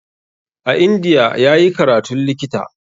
A India ya yi karatun likita.